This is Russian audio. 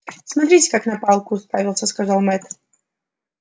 смотрите как на палку уставился сказал мэтт